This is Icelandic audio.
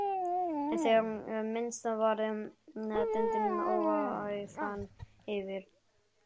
En þegar minnst varði dundi ógæfan yfir.